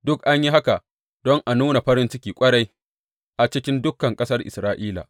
Duk an yi haka don a nuna farin ciki ƙwarai a cikin dukan ƙasar Isra’ila.